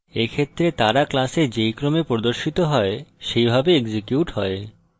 এক্ষেত্রে তারা class যেই ক্রমে প্রদর্শিত হয় সেইভাবে execute হয়